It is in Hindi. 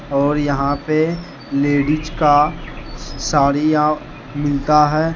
और यहां पे लेडिस का साड़िया मिलता है।